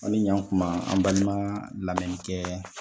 Aw ni yan kuma an balima lamɛnnikɛ